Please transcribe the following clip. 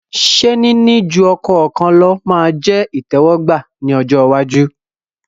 Ṣé níní ju ọkọ kan lọ ma jẹ́ ìtẹ́wọ́gbà ní ọjọ́ iwájú?